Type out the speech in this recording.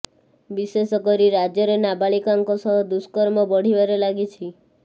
ବିଶେଷ କରି ରାଜ୍ୟରେ ନାବାଳିକାଙ୍କ ସହ ଦୁର୍ଷ୍କମ ବଢିବାରେ ଲାଗିଛି